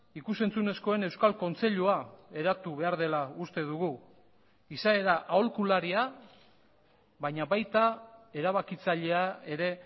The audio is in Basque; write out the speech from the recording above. ikus entzunezkoen euskal kontseilua eratu behar dela uste dugu izaera aholkularia baina baita erabakitzailea ere